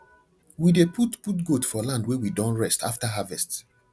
we dey put put goat for land wey we don rest after harvest